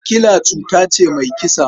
Sikila cuta ce mai kisa.